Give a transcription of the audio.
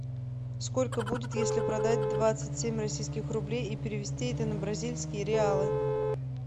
сколько будет если продать двадцать семь российских рублей и перевести это на бразильские реалы